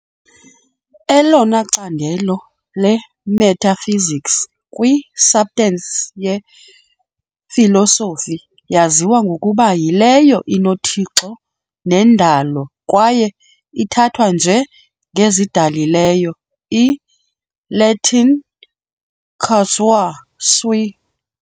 Elona candelo lemetaphysics kwi-substance yefilosofi yaziwa ngokuba yileyo inoThixo nendalo kwaye ithathwa nje ngezidalileyo, i-Latin causa sui.